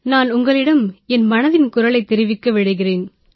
நான் உங்களிடம் என் மனதின் குரலைத் தெரிவிக்க விரும்புகிறேன்